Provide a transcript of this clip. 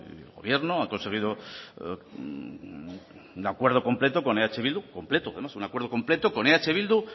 y el gobierno han conseguido un acuerdo completo con eh bildu completo un acuerdo completo con eh bildu